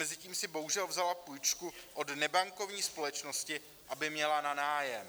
Mezitím si bohužel vzala půjčku od nebankovní společnosti, aby měla na nájem.